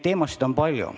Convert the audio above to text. Teemasid on palju.